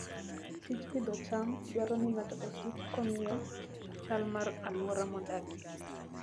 Tij pidho cham dwaro ni ng'ato osiki kong'iyo chal mar alwora modakie.